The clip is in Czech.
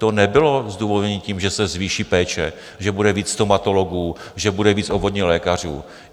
To nebylo zdůvodněno tím, že se zvýší péče, že bude víc stomatologů, že bude víc obvodních lékařů.